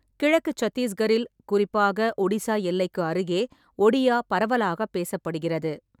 கிழக்கு சத்தீஸ்கரில், குறிப்பாக ஒடிசா எல்லைக்கு அருகே ஒடியா பரவலாகப் பேசப்படுகிறது.